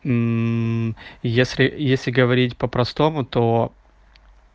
если если говорить по-простому то